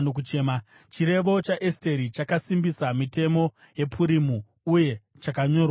Chirevo chaEsteri chakasimbisa mitemo yePurimu, uye chakanyorwa mubhuku.